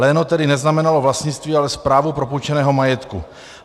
Léno tedy neznamenalo vlastnictví, ale správu propůjčeného majetku.